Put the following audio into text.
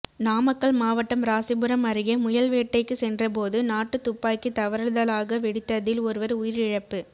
நாமக்கல் மாவட்டம் ராசிபுரம் அருகே முயல்வேட்டைக்கு சென்றபோது நாட்டுத் துப்பாக்கி தவறுதலாக வெடித்ததில் ஒருவர் உயிரிழப்பு